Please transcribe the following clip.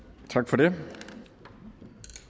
og det